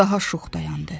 Daha şux dayandı.